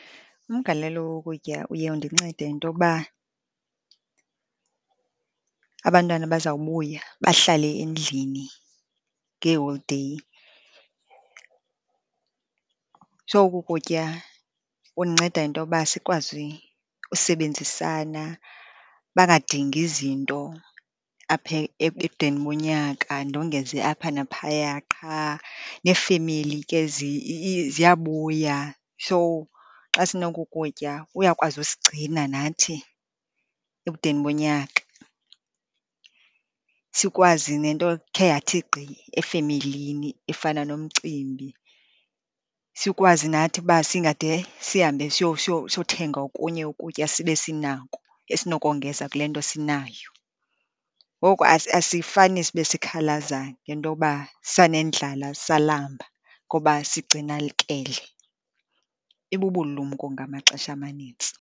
Umgalelo wokutya uye undincede ngentokuba abantwana bazawubuya bahlale endlini ngeeholideyi. So, oku kutya kundinceda ngentoba sikwazi usebenzisana, bangadingi zinto apha ebudeni bonyaka, ndongeze apha naphaya qha. Neefemeli ke ziyabuya. So, xa sinoku kutya kuyakwazi usigcina nathi ebudeni bonyaka, sikwazi nento ekhe yathi gqi efemelini efana nomcimbi, sikwazi nathi uba singade sihambe siyothenga okunye ukutya, sibe sinako esinokongenza kule nto sinayo. Ngoku asifani sibe sikhalaza ngento uba sanendlala salamba, ngoba sigcinalikele. Ibubulumko ngamaxesha amanintsi.